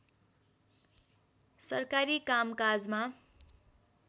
सरकारी काम काजमा